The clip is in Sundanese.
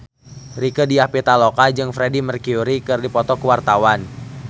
Rieke Diah Pitaloka jeung Freedie Mercury keur dipoto ku wartawan